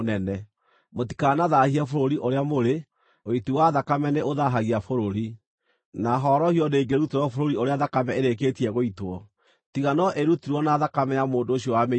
“ ‘Mũtikanathaahie bũrũri ũrĩa mũrĩ. Ũiti wa thakame nĩ ũthaahagia bũrũri, na horohio ndĩngĩrutĩrwo bũrũri ũrĩa thakame ĩrĩkĩtie gũitwo, tiga no ĩrutirwo na thakame ya mũndũ ũcio wamĩitire.